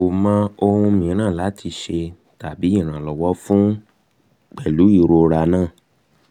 emi ko mọ ohun miiran lati ṣe tabi ṣe iranlọwọ fun pẹlu irora naa